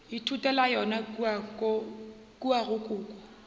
ithutela yona kua go koko